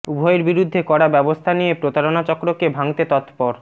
উভয়ের বিরুদ্ধে কড়া ব্যবস্থা নিয়ে প্রতারণা চক্রকে ভাঙতে তৎপর